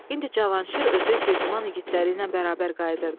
İndi Cavanşir özü Girdiman igidləri ilə bərabər qayıdırdı.